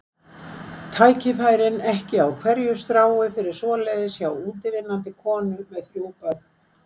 Tækifærin ekki á hverju strái fyrir svoleiðis hjá útivinnandi konu með þrjú börn.